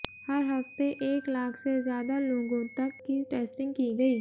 हर हफ्ते एक लाख से ज्यादा लोगों तक की टैस्टिंग की गई